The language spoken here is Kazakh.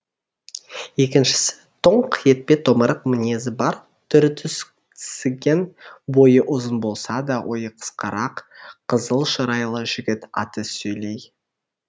екіншісі тоңқ етпе томырық мінезі бар түрі түксген бойы ұзын болса да ойы қысқарақ қызыл шырайлы жігіт аты сүлей